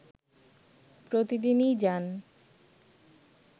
প্রতিদিনই যান